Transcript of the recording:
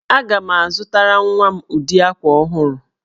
Aga m azụtara nwa m ụdị akwa ọhụrụ